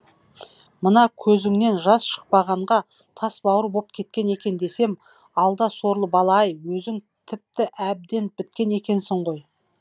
мана көзіңнен жас шықпағанға тас бауыр боп кеткен екен десем алда сорлы бала ай өзің тіпті әбден біткен екенсің ғой